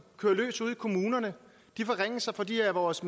kører løs ude i kommunerne de forringelser for de af vores